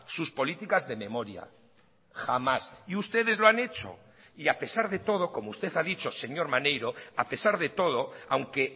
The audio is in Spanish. sus políticas de memoria jamás y ustedes lo han hecho y a pesarde todo como usted ha dicho señor maneiro a pesar de todo aunque